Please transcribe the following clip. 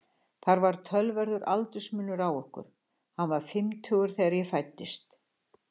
Það var töluverður aldursmunur á okkur, hann var fimmtugur þegar ég fæddist.